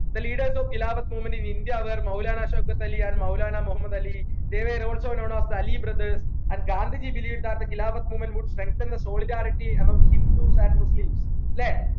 the leaders of khilafath movement in India were Maulana Shaukat Ali and Maulana Muhammad Ali they were also known as the Ali brothers and Gandhiji believed that the khilafath movement would strengthen the solidarity amongst hindus and muslims ല്ലേ